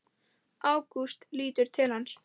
Ágúst lítur til hans.